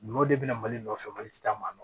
N'o de bɛ na mali nɔfɛ mali tɛ taa maa dɔn